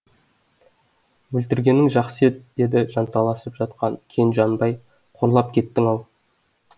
өлтіргенің жақсы еді деді жанталасып жатқан кен жанбай қорлап кеттің ау